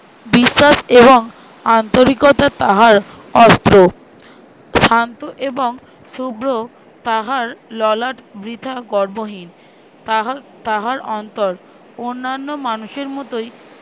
বিশ্বাস এবং আন্তরিকতা তাহার অস্ত্র। শান্ত এবং শুভ্র তাহার ললাট বৃথা গর্বহীন তাহা~ তাহার অন্তর অন্নান্য মানুষের মতোই